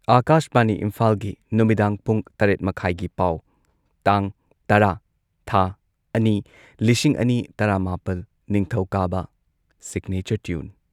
ꯑꯥꯀꯥꯁꯕꯥꯅꯤ ꯏꯝꯐꯥꯜꯒꯤ ꯅꯨꯃꯤꯗꯥꯡ ꯄꯨꯡ ꯇꯔꯦꯠ ꯃꯈꯥꯢꯒꯤ ꯄꯥꯎ ꯇꯥꯡ ꯇꯔꯥ ꯊꯥ ꯑꯅꯤ ꯂꯤꯁꯤꯡ ꯑꯅꯤ ꯇꯔꯥꯃꯥꯄꯜ, ꯅꯤꯡꯊꯧꯀꯥꯕ ꯁꯤꯒꯅꯦꯆꯔ ꯇ꯭ꯌꯨꯟ